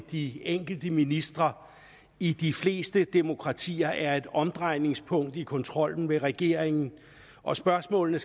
de enkelte ministre i de fleste demokratier er et omdrejningspunkt i kontrollen med regeringen og spørgsmål